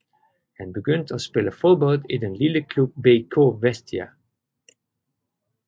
Han begyndte at spille fodbold i den lille klub BK Vestia